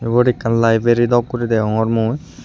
ubot ekkan library dok guri degongor mui.